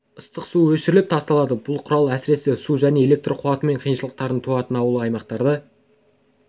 ыстық су өшіріліп тасталады бұл құрал әсіресе су және электр қуатымен қиыншылықтар туатын ауылды аймақтарда